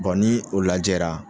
ni o lajɛra